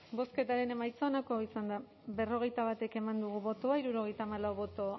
bozketaren emaitza onako izan da berrogeita bat eman dugu bozka hirurogeita hamalau boto